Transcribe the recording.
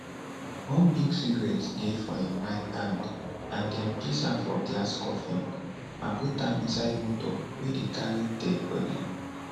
one big cigaratte dey for im right hand and dem place am for glass coffin and put am inside motor wey dey carry deadi bodi